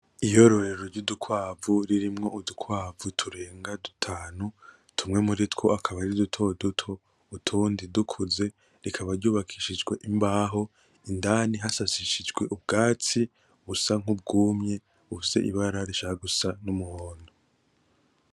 Iyororero ry'udukwavu ririmwo udukwavu turenga dutanu. Tumwe muritwo akaba ari dutoduto, utundi dukuze, rikaba ryubakishijwe imbaho, indani hasasisijwe ubwatsi busa nk'ubwumye bufise ibara rishaka gusa n'umuhondo.